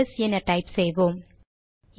LS என type செய்வோம்